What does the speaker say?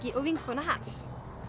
og vinkona hans